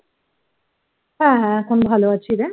হ্যাঁ হ্যাঁ এখন ভালো আছি রে